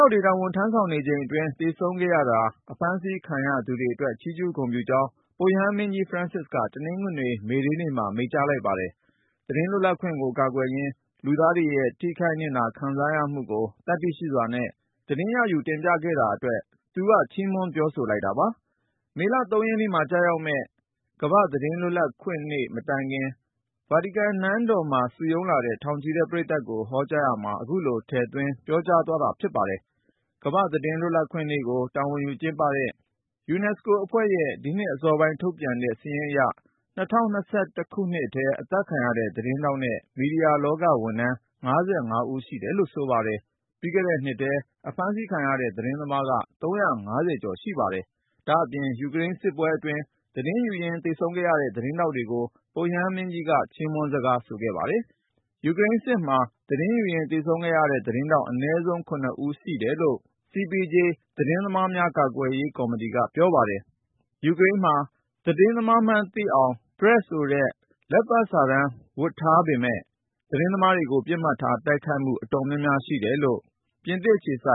ောက်တွေ တာဝန်ထမ်းဆောင်နေချိန်အတွင်း သေဆုံးခဲ့ရတာ၊ အဖမ်းဆီးခံရတာတွေအတွက် ချီးကျူးဂုဏ်ပြုကြောင်း ပုပ်ရဟန်းမင်းကြီး Francis က တနင်္ဂနွေ မေဒေးနေ့မှာ မိန့်ကြားလိုက်ပါတယ်။ သတင်းလွတ်လပ်ခွင့်ကို ကာကွယ်ရင်း လူသားတွေရဲ့ ထိခိုက်နစ်နာ ခံစားရမှုကို သတ္တိရှိစွာနဲ့ သတင်းရယူ တင်ပြခဲ့တာအတွက် သူက ချီးမွမ်း ပြောဆိုလိုက်တာပါ။ မေလ ၃ ရက်နေ့မှာ ကျရောက်မယ့် World Press Freedom Day ကမ္ဘာ့သတင်းလွတ်လပ်ခွင့်နေ့ မတိုင်ခင် ဗာတီကန်နန်းတော် စိန့်ပီတာရင်ပြင်မှာ စုရုံးလာတဲ့ ထောင်ချီတဲ့ ပရိသတ်ကို ဟောကြားရာမှာ ခုလို ထည့်သွင်း ပြောဆိုခဲ့တာ ဖြစ်ပါတယ်။ ကမ္ဘာ့သတင်းလွတ်လပ်ခွင့်နေ့ကို တာဝန်ယူကျင်းပတဲ့ ကုလသမဂ္ဂ UNESCO အဖွဲ့ရဲ့ ဒီနှစ်အစောပိုင်း ထုတ်ပြန်တဲ့ စာရင်းအရ ၂၀၂၁ ခုနှစ်ထဲမှာ အသတ်ခံရတဲ့ သတင်းထောက်နဲ့ မီဒီယာလောက ဝန်ထမ်း ၅၅ ဦးရှိတယ်လို့ ဆိုပါတယ်။ ပြီးခဲ့တဲ့နှစ်ထဲ အဖမ်းဆီးခံရတဲ့ သတင်းသမားက ၃၅၀ ကျော် ရှိတယ်လို့ ဆိုပါတယ်။ ဒါ့အပြင် ယူကရိန်းစစ်ပွဲအတွင်း သတင်းယူရင်း သေဆုံးခဲ့ရတဲ့ သတင်းထောက်တွေကိုလည်း ပုပ်ရဟန်းမင်းကြီးက ချီးမွမ်းစကား ဆိုခဲ့ပါတယ်။ ယူကရိန်းစစ်မှာ သတင်းယူရင်း သေဆုံးခဲ့တဲ့ သတင်းထောက် အနည်းဆုံး ၇ ဦးရှိတယ်လို့ CPJ ခေါ် နယူးယောက်အခြေစိုက် သတင်းသမားများ ကာကွယ်ရေးကော်မတီက ပြောပါတယ်။ ယူကရိန်းမှာ ‘PRESS’ ဆိုတဲ့ လက်ပတ်စာတမ်း ဝတ်ဆင်ထားတဲ့ သတင်းသမားတွေကို ပစ်မှတ်ထား တိုက်ခိုက်မှု အတော်များများ ရှိတယ်လို့ ပြင်သစ်အခြေစို